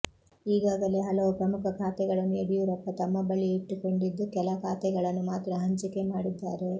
ಈಗಾಗಲೇ ಹಲವು ಪ್ರಮುಖ ಖಾತೆಗಳನ್ನು ಯಡಿಯೂರಪ್ಪ ತಮ್ಮ ಬಳಿಯೇ ಇಟ್ಟುಕೊಂಡಿದ್ದು ಕೆಲ ಖಾತೆಗಳನ್ನು ಮಾತ್ರ ಹಂಚಿಕೆ ಮಾಡಿದ್ದಾರೆ